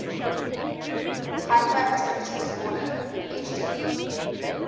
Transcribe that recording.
hyperactivity disorder adhd